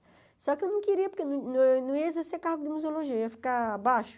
Só que eu não queria, porque eu não não ia exercer cargo de museologia, eu ia ficar abaixo.